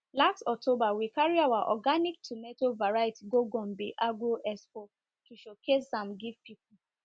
last october we carry our organic tomato variety go gombe agro expo showcase am give people